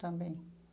Também.